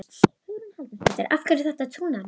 Hugrún Halldórsdóttir: Af hverju er þetta trúnaðarmál?